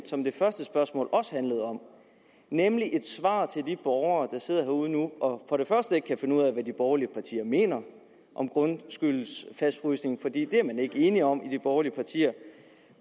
som det første spørgsmål også handlede om nemlig svaret til de borgere der sidder derude nu og ikke kan finde ud af hvad de borgerlige mener om grundskyldens fastfrysning for det er man ikke enig om i de borgerlige partier